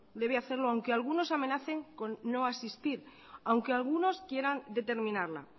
debe hacerlo aunque algunos amenacen con no asistir aunque algunos quieran determinarla